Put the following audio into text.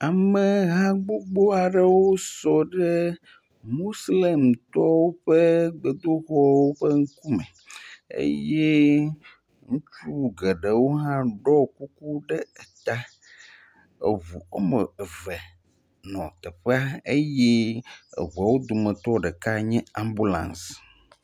Ameha gbogbo aɖewo sɔ ɖe Moslemtɔwo ƒe gbedoxɔ ƒe ŋkume eye ŋutsu geɖewo hã ɖɔ kuku ɖe eta eŋu woame eve nɔ teƒea eye eŋuawo dometɔ ɖeka nye ambulaŋsi.